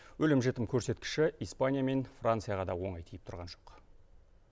өлім жітім көрсеткіші испания мен францияға да оңай тиіп тұрған жоқ